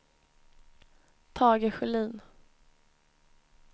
Tage Sjölin